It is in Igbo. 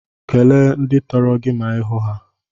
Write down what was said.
Kele ndị tọrọ gị ma ihu ha.